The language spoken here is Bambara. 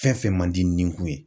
Fɛn fɛn man di nikun ye